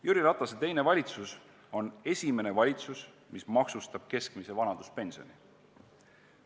Jüri Ratase teine valitsus on esimene valitsus, mis maksustab keskmise vanaduspensioni.